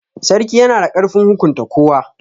Sarki yana da ƙarfin hukunta kowa.